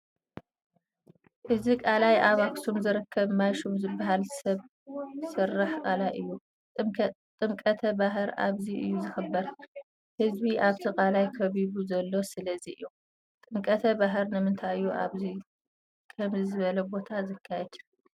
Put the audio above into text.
እዚ ቃላይ ኣብ ኣኽሱም ዝርከብ ማይሹም ዝበሃል ሰብ ሰራሕ ቃላይ እዩ፡፡ ጥምቀተ ባህር ኣብዚ እዩ ዝኽበር፡፡ ህዝቢ ኣብቲ ቀላይ ከቢቡ ዘሎ ስለዚ እዩ፡፡ ጥምቀተ ባህር ንምንታይ እዩ ኣብ ከምዚ ዝበለ ቦታ ዝካየድ?